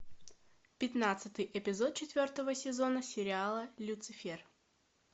пятнадцатый эпизод четвертого сезона сериала люцифер